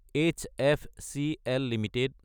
SFCL Ltd